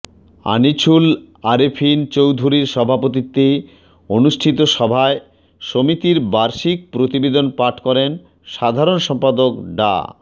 আনিছুল আরেফিন চৌধুরীর সভাপতিত্বে অনুষ্ঠিত সভায় সমিতির বার্ষিক প্রতিবেদন পাঠ করেন সাধারণ সম্পাদক ডা